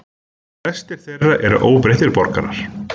Flestir þeirra eru óbreyttir borgarar